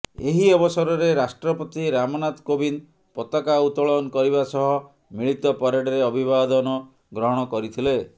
ଏହି ଅବସରରେ ରାଷ୍ଟ୍ରପତି ରାମନାଥ କୋବିନ୍ଦ ପତାକା ଉତୋଳନ କରିବା ସହ ମିଳିତ ପରେଡରେ ଅଭିବାଦନ ଗ୍ରହଣ କରିଥିଲେ